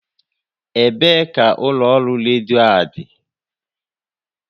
Ebee ka ụlọ ọrụ redio a dị?